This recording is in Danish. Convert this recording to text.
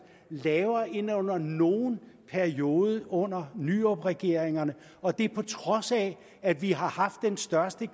lavere end under nogen periode under nyrupregeringerne og det på trods af at vi har haft den største